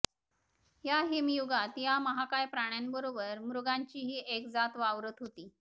या हिमयुगात या महाकाय प्राण्यांबरोबर मृगांचीही एक जात वावरत होती